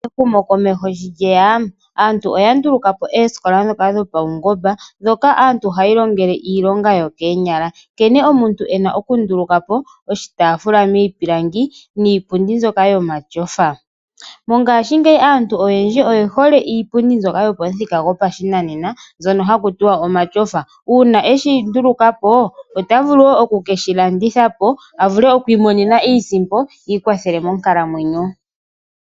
Ehumo komeho shi lyeya , aantu oya ndulukapo oosikola ndhoka dhopaungomba hoka aantu haya ilongele iilonga yokoonyala , nkene omuntu ena okundulukapo iitaafula miipilangi niipundi mbyoka yomatyofa. Mongashingeyi aantu oye hole iipundi mbyoka yopamuthika gwopashinanena mbyono haku tiwa omatyofa. Uuna eshi ndulukapo ota vulu eo okukedhi landitha a vule okwiimonena mo iisimpo a ikwathele monkalamwenyo .